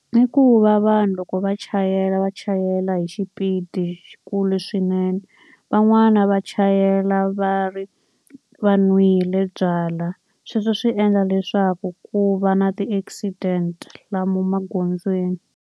I ku va vanhu loko va chayela va chayela hi xipidi xikulu swinene, van'wana va chayela va va nwile byalwa. Sweswo swi endla leswaku ku va na ti-accident lomu magondzweni.